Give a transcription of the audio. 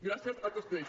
gràcies a tots ells